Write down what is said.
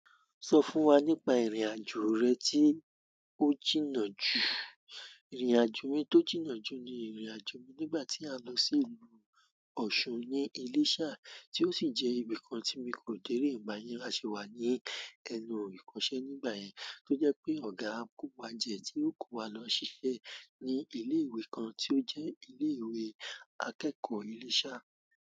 Sọ fún wa nípa ìrìn-àjò rẹ tí ó jìnnà jù. Ìrìn-àjò mi tó jìnnà jù ni ìrìn-àjò mi nígbà tí a lọ sí ìlú Osun ní Iléṣà tí ó sì jẹ́ ibìkan tí mi kò dé rí ìgbà yira. A ṣe wá ní ẹnu ìkọṣẹ́ nígbà yẹn tó jẹ́ pé ọ̀gá n ko wa jẹ tí ó kó wa lọ ṣiṣẹ́ ní ilé ìwé kan tí ó jẹ́ ilé ìwé akẹ́kọ̀ọ́ Iléṣà.